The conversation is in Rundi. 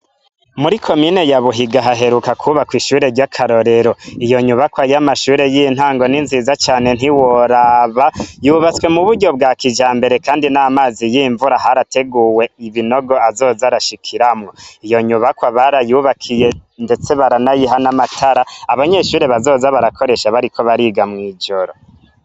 Mu komine ya Buhiga haheruka kwubakwa ishure ry'akarorero , iyo nyubakwa y'amashure y'intango ni nziza cane ntiworaba yubatswe mu buryo bwa kijambere kandi n'amazi y'imvura harateguwe ibinogo azoza arashikiramwo. Iyo nyubakwa barayubakiye ndetse baranayiha n'amatara abanyeshure bazoza barakoresha bariko bariga mw'ijoro.